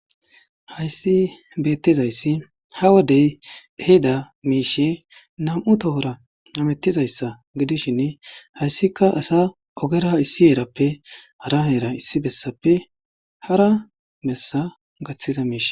Haysi betizaysi ha wode ehida mishiy nam'u tohora hamitizaysa gidishin hasiki ogera herape hara ogera issi besape hara bessa mishata...